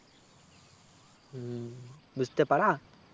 হম বুঝতেপাড়া